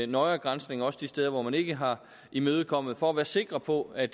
nøjere granskning også de steder hvor man ikke har imødekommet for at være sikre på at